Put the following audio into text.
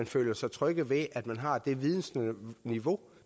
føle sig trygge ved at man har det vidensniveau